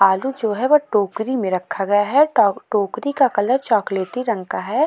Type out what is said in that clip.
आलू जो है वो टोकरी में रखा गया है। टॉ टोकरी का कलर चॉकलेटी रंग का है।